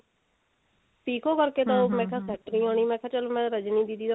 ਪਿਕੋ ਕਰਕੇ ਤਾਂ ਮੈਂ ਕਿਹਾ setting ਨਹੀਂ ਆਉਨੀ ਮੈਂ ਕਿਹਾ ਚੱਲ ਮੈਂ ਰਜਨੀ ਦੀਦੀ ਦਾ